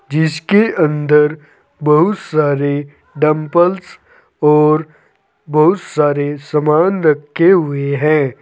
जिसके अंदर बहुत सारी डंपल्स और बहुत सारे सामान रखे हुए है।